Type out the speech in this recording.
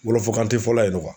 Wɔlɔfakan te fɔla yen nɔ .